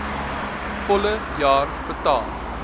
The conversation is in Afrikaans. volle jaar betaal